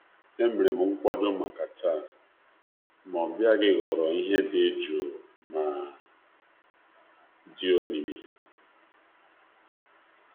Enwere m atụmatụ taa, mana nleta gị tụgharịrị bụrụ ihe dị ihe dị omimi miri emi.